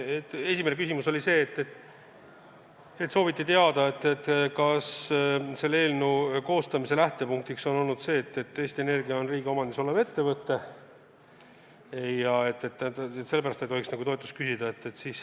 Esimene küsimus oli see, et sooviti teada, kas selle eelnõu koostamise lähtepunkt on see, et Eesti Energia on riigi omandis olev ettevõte ja sellepärast ei tohiks nagu toetust küsida.